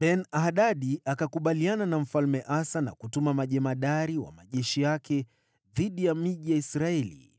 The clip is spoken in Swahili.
Ben-Hadadi akakubaliana na Mfalme Asa na kutuma majemadari wa majeshi yake dhidi ya miji ya Israeli.